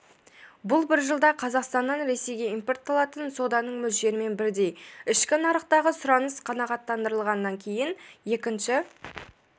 бұл бір жылда қазақстаннан ресейге импорталатын соданың мөлшерімен бірдей ішкі нарықтағы сұраныс қанағаттандырылғаннан кейін екінші